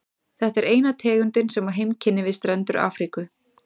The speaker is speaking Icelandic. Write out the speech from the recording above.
Þetta er eina tegundin sem á heimkynni við strendur Afríku.